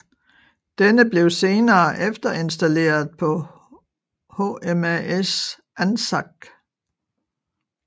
Denne blev senere efterinstalleret på HMAS Anzac